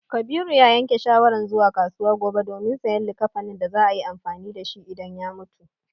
Kabiru ya yanke shawaran zuwa kasuwa gobe domin sayan likkafanin da za a yi amfani da shi idan ya mutu.